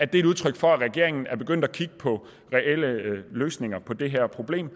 det er et udtryk for at regeringen er begyndt at kigge på reelle løsninger på det her problem